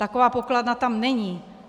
Taková pokladna tam není.